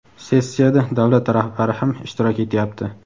Sessiyada davlat rahbari ham ishtirok etyapti.